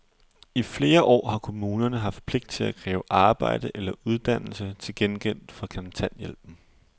I flere år har kommunerne haft pligt til at kræve arbejde eller uddannelse til gengæld for kontanthjælpen.